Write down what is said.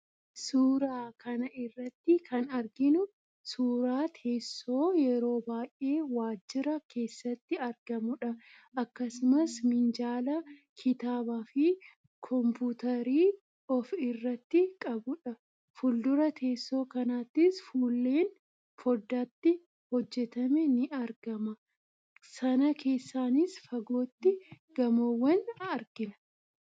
Suuraa kana irratti kan arginu suuraa teessoo yeroo baay'ee waajjira keessatti argamudha. Akkasumas, minjaala kitaabaa fi kompuutarii of irraatii qabudha. Fuuldura teessoo kanattis fuulleen fooddaatti hojjetame ni argama. Sana keessaanis fagootti gamoowwan argina.